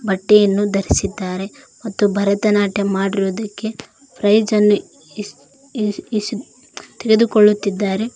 ಬಟ್ಟೆಯನ್ನು ಧರಿಸಿದ್ದಾರೆ ಮತ್ತು ಭರತನಾಟ್ಯ ಮಾಡಿರುವುದಕ್ಕೆ ಪ್ರೈಜ್ ಅನ್ನು ಇಸ್ ಇಸ್ ತೆಗೆದುಕೊಳ್ಳುತ್ತಿದ್ದಾರೆ.